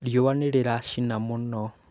riũa nĩrĩracina mũno